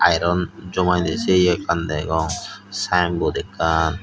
iron jomaidey se ye ekkan degong sinebord ekkan.